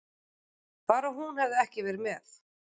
Bara hún hefði ekki verið með.